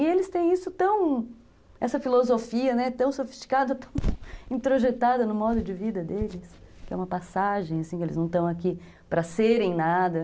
E eles têm isso tão, essa filosofia, né, tão sofisticada, tão introjetada no modo de vida deles, que é uma passagem, que eles não estão aqui para serem nada.